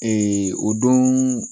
o don